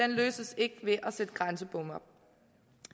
løses ikke ved at sætte grænsebomme at